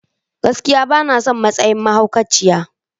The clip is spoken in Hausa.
Gaskiya! Bana son matsayin mahaukaciyan.